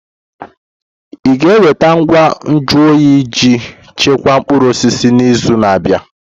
Ị ga-enweta ngwa nju oyi iji chekwaa mkpụrụ osisi n'izu na-abịa?